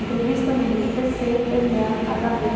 Entrevista número pê-cê-eme-á-agá-vê